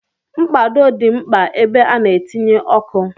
Mkpado dị mkpa ebe a na-etinye ọkụ.